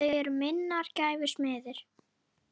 Þau eru minnar gæfu smiðir.